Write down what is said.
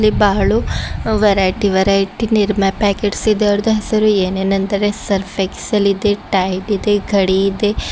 ಬಹಳು variety variety Nirma packets ಇದರ್ದು ಹೆಸರು ಏನೇನಂದರೆ Surf Excel ಇದೆ Tide ಇದೆ ಘಡಿ ಇದೆ.